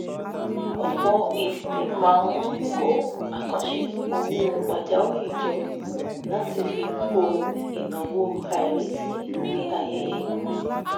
ọ̀pọ̀ idílé máa ń kó àkàǹṣe owó pajawiri jọ láti fi bo ináwó àìrètí bíi ayẹyẹ ikú